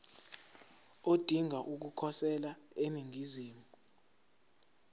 odinga ukukhosela eningizimu